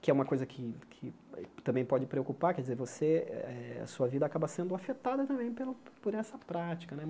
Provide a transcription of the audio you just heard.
que é uma coisa que que também pode preocupar, quer dizer, você eh a sua vida acaba sendo afetada também pelo por essa prática né.